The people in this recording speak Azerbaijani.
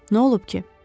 Nə olub ki?